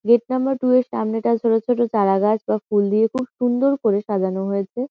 Gate number two এর সামনেটা ছোটো ছোটো চারা গাছ বা ফুল দিয়ে খুব সুন্দর করে সাজানো হয়েছে।